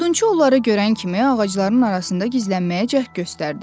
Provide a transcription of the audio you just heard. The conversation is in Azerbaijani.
Odunçu onları görən kimi ağacların arasında gizlənməyə cəhd göstərdi.